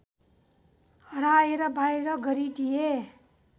हराएर बाहिर गरिदिए